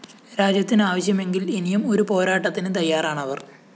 രാജ്യത്തിന് ആവശ്യമെങ്കില്‍ ഇനിയും ഒരു പോരാട്ടത്തിന് തയ്യാറാണവര്‍